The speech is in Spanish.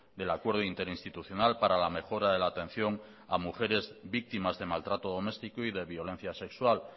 del acuerdo interinstitucional para la mejora de la atención a mujeres víctimas de maltrato doméstico y de violencia sexual